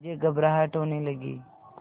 मुझे घबराहट होने लगी